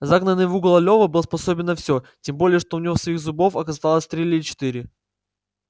загнанный в угол лева был способен на все тем более что у него своих зубов оставалось три или четыре